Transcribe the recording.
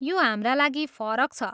यो हाम्रा लागि फरक छ!